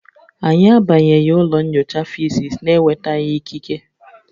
Anyị abanyeghị ụlọ nyocha Fisis na-enwetaghị ikike